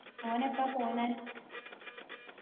ഓൻ എപ്പാ പോന്നെ